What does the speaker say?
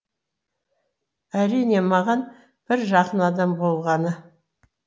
әрине маған бір жақын адам болғаны